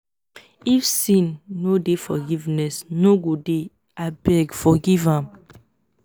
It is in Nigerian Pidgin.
if sin no deyforgiveness no go dey.abeggg forgive me